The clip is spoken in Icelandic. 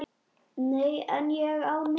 Nei, en ég á Noreg.